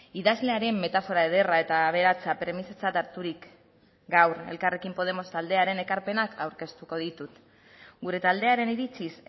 idazlearen metafora ederra eta aberatsa premisatzat harturik gaur elkarrekin podemos taldearen ekarpenak aurkeztuko ditut gure taldearen iritziz